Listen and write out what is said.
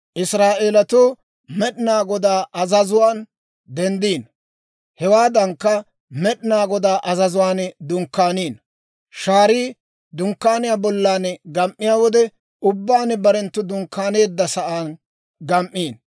Israa'eelatuu Med'inaa Godaa azazuwaan denddino; hewaadankka, Med'inaa Godaa azazuwaan dunkkaaniino. Shaarii Dunkkaaniyaa bollan gam"iyaa wode ubbaan barenttu dunkkaaneeddasan gam"ino.